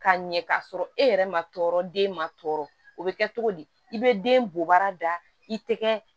Ka ɲɛ k'a sɔrɔ e yɛrɛ ma tɔɔrɔ den ma tɔɔrɔ o bɛ kɛ togo di i bɛ den bɔ bara da i tɛgɛ